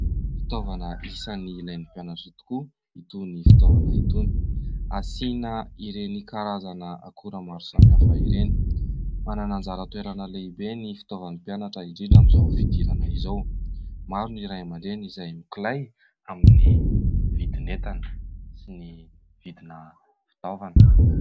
Fitaovana isan'ny ilain'ny mpianatra tokoa itony fitaovana itony. Asiana ireny karazana akora maro samy hafa ireny. Manana anjara toerana lehibe ny fitaovan'ny mpianatra indrindra amin'izao fidirana izao. Maro no ray aman-dreny izay mikolay amin'ny vidin'entana sy ny vidina fitaovana.